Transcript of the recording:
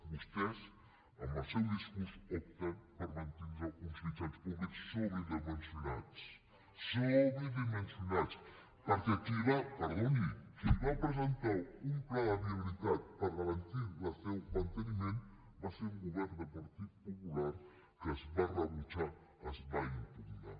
vostès amb el seu discurs opten per mantindre uns mitjans públics sobredimensionats sionats perquè perdoni qui va presentar un pla de viabilitat per garantir el seu manteniment va ser un govern del partit popular que es va rebutjar es va impugnar